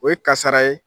O ye kasara ye